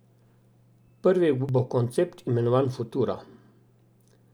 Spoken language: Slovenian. Prvi bo koncept, imenovan futuro.